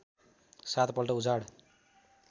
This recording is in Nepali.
सात पल्ट उजाड